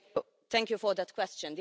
Thank you for that question.